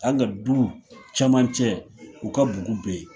An ka du camancɛ u ka bugu bɛ ye